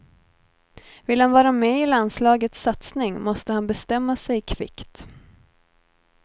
Vill han vara med i landslagets satsning måste han bestämma sig kvickt.